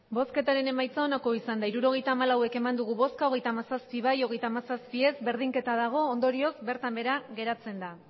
hirurogeita hamalau eman dugu bozka hogeita hamazazpi bai hogeita hamazazpi ez berdinketa dago ondorioz bertan behera geratzen da